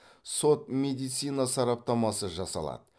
сот медицина сараптамасы жасалады